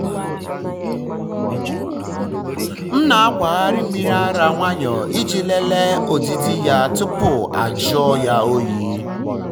um m um na-akwagharị mmiri ara nwayọọ iji lelee ọdịdị ya tupu ajụọ um ya oyi.